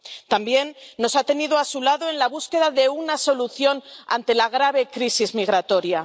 También, nos ha tenido a su lado en la búsqueda de una solución ante la grave crisis migratoria.